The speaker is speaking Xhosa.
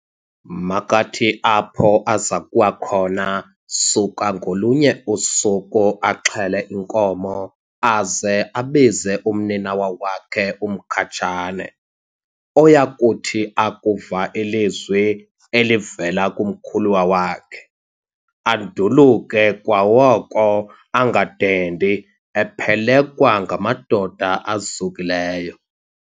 Makathi apho azakuwa khona, suka ngolunye usuku axhele inkomo, aze abize umninawa wakhe uMkhatshane, oyakuthi akuva ilizwi elivela kumkhuluwa wakhe, anduluke kwaoko angadendi, ephelekwa ngamadoda azukileyo.